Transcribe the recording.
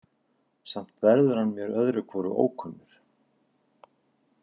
Samt verður hann mér öðru hvoru ókunnur.